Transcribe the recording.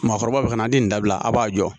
Maakɔrɔba be ka na di nin dabila a b'a jɔ